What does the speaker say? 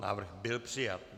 Návrh byl přijat.